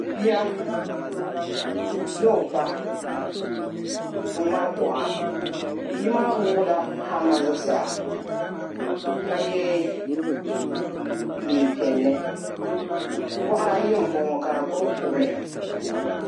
Bia ni o ba n-ŋmari kuɣa bi'maa wuɣi la "hammer" zuɣusaa ka ye neein'piɛlli buɣa ri ayi m-bɔŋɔ ka di gbubi kuɣili.